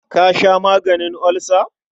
Ka sha maganin olsa.